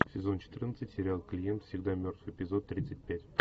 сезон четырнадцать сериал клиент всегда мертв эпизод тридцать пять